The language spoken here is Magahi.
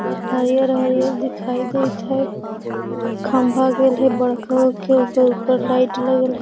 और हरियर-हरियर दिखाई देत हेय एगो खंभा गेल हेय बड़का गो के ओकर ऊपर लाइट लगल हेय।